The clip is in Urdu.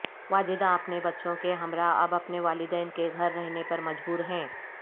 واجدہ اپنے بچوں کے ہمراہ اب اپنے والدین کے گھر رہنے پر مجبور ہیں